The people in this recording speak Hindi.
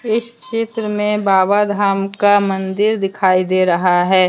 इस चित्र में बाबा धाम का मंदिर दिखाई दे रहा है।